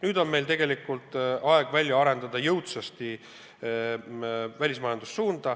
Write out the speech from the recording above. Nüüd on meil tegelikult aeg jõudsasti arendada välismajandust.